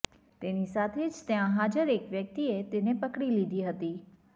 તેની સાથે જ ત્યાં હાજર એક વ્યક્તિએ તેને પકડી લીધી હતી